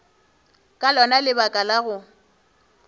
ka lona lebaka la go